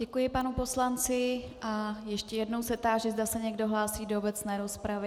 Děkuji panu poslanci a ještě jednou se táži, zda se někdo hlásí do obecné rozpravy.